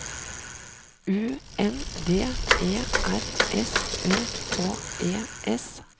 U N D E R S Ø K E S